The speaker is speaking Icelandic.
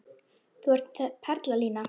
Þú ert perla Lína!